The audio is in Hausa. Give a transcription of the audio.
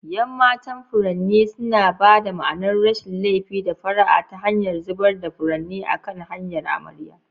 Yan matan furanni suna ba da ma'anar rashin laifi da fara'a ta hanyar zubar da furanni a kan hanyar amarya.